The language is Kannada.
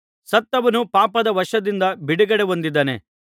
ಸತ್ತವನು ಪಾಪದ ವಶದಿಂದ ಬಿಡುಗಡೆ ಹೊಂದಿದ್ದಾನೆ